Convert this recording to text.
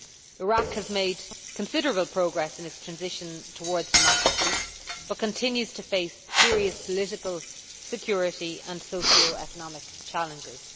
Iraq has made considerable progress in its transition towards democracy, but continues to face serious political, security, and socio economic challenges.